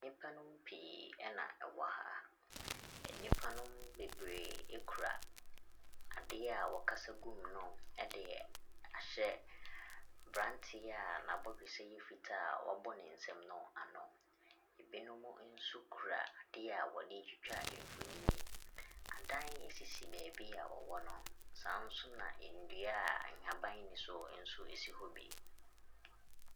Nipanom pii ɛna ɛwɔha. Enipa no bebree ekura adeɛ a wɔkasa gu mu no ɛde ahyɛ abranteɛ a n'abɔdwesɛ yɛ fitaa wabɔ ne nsam no ano. Ebinom nso kura adeɛ wɔde twitwa mfonini. Adan sisi beebia wɔwɔ no sanso na ndua haban ni soɔ sanso wɔ hɔ bi.